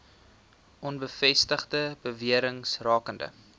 onbevestigde bewerings rakende